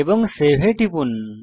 এবং সেভ এ টিপুন